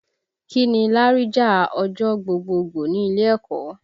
Kí ni láríjà ọjọ́ gbogboogbò ní ilé ẹ̀kọ́?